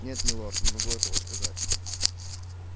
нет милорд не могу этого сказать